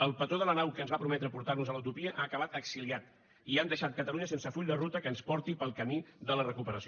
el patró de la nau que ens va prometre portar nos a la utopia ha acabat exiliat i han deixat catalunya sense full de ruta que ens porti pel camí de la recuperació